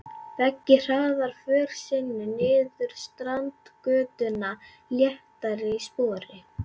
Beggi hraðar för sinni niður Strandgötuna léttari í spori.